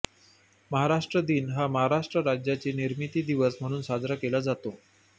महाराष्ट्र दिन हा महाराष्ट्र राज्याची निर्मिती दिवस म्हणून साजरा केला जातो